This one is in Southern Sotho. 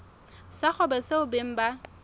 sa kgwebo seo beng ba